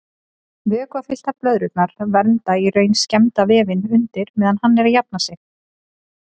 Vökvafylltar blöðrurnar vernda í raun skemmda vefinn undir meðan hann er að jafna sig.